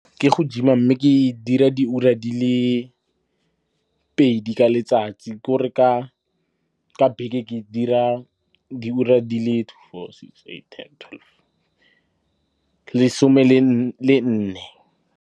Ke go gym-a mme ke e dira diura di le pedi ka letsatsi. Ke gore ka beke ke dira diura di le two, four, six, eight, ten, twelve, lesome le nne.